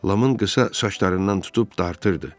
Lamın qısa saçlarından tutub dartırdı.